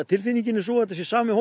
tilfinningin er sú að þetta sé sami